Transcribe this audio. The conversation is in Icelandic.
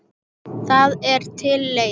Það er til leið.